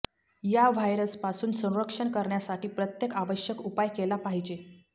या व्हायरसपासून संरक्षण करण्यासाठी प्रत्येक आवश्यक उपाय केला पाहिजे